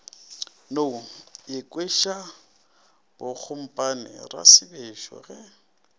no ikhwiša bogompane rasebešo ge